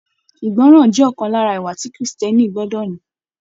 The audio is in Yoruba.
Ìgbọràn jẹ ọkan lára ìwà tí kírísítẹ́nì gbọdọ ní.